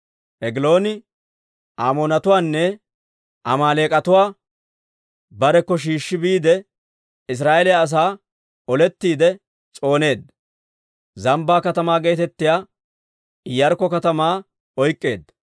Egilooni Amoonatuwaanne Amaaleek'atuwaa barekko shiishshi biide, Israa'eeliyaa asaa olettiide s'ooneedda; Zambbaa Katamaa geetettiyaa Iyaarkko katamaa oyk'k'eedda.